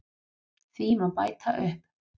Því má bæta upp